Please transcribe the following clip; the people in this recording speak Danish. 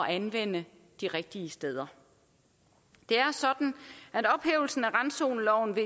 anvende de rigtige steder det er sådan at ophævelsen af randzoneloven